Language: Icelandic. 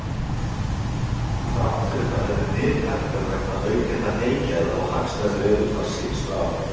Þrátt fyrir það hefur nyt hækkað vegna aukinna heygæða og hagstæðs veðurfars síðustu ár.